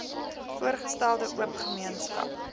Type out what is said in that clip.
voorgestelde oop gemeenskap